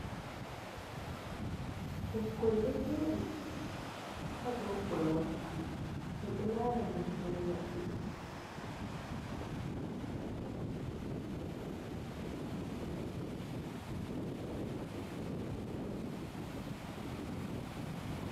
Ɓukkoi ɗo joɗi ha dou korwal, ɓe ɗo lara deftere maɓɓe.